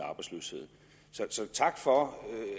arbejdsløshed så tak for